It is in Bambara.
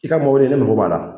I ka mobili ne mɔgɔ b'a la